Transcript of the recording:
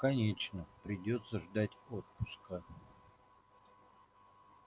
конечно придётся ждать отпуска